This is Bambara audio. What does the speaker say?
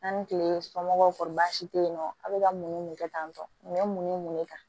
An ni kile somɔgɔw si tɛ yen nɔ a bɛ ka mun ni mun de kɛ tan tɔ nin bɛ mun ni mun de ta